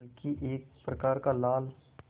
बल्कि एक प्रकार का लाल